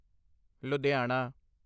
Ludhiana